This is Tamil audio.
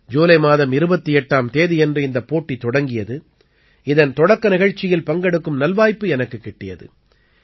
ஜூலை மாதம் 28ஆம் தேதியன்று இந்தப் போட்டி தொடங்கியது இதன் தொடக்க நிகழ்ச்சியில் பங்கெடுக்கும் நல்வாய்ப்பு எனக்குக் கிட்டியது